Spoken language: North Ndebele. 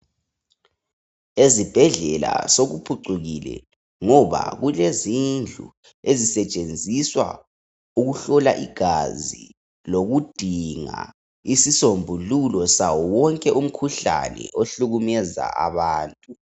Ezibhedlela sokuphucukile ngoba kulezindlu ezisetshenziswa ukuhlola igazi lokudinga isisombululo sawo wonke umkhuhlane ohlukumeza abantu.